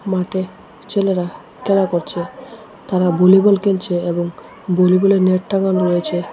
মাঠে ছেলেরা খেলা করছে তারা বোলিবল খেলছে এবং বোলিবলের নেট টাঙানো রয়েছে।